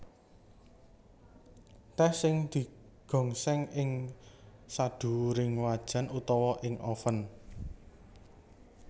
Tèh sing digongsèng ing sadhuwuring wajan utawa ing oven